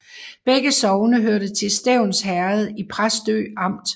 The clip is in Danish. Begge sogne hørte til Stevns Herred i Præstø Amt